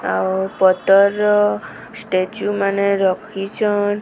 ଆଉ ପତର ର ଷ୍ଟାଚୁ ମାନେ ରଖିଚନ୍।